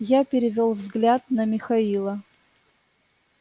я перевёл взгляд на михаила